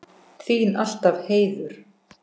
Þín alltaf, Heiður.